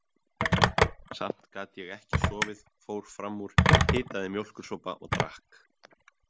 Samt gat ég ekki sofið, fór fram úr, hitaði mjólkursopa og drakk.